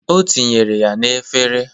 O tinyere ya n'efere.